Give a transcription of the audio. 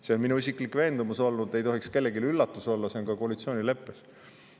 See on minu isiklik veendumus olnud ega tohiks kellelegi üllatus olla, see on ka koalitsioonileppes.